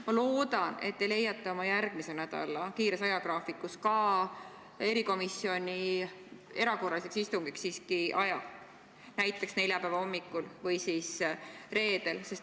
Ma loodan, et te leiate oma järgmise nädala tihedas ajagraafikus ka erikomisjoni erakorralise istungi jaoks siiski aja, näiteks neljapäeva hommikul või reedel.